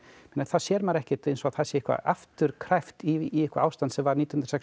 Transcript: með þá sér maður ekkert eins og það sé eitthvað afturkræft í eitthvað ástand sem var nítján hundruð sextíu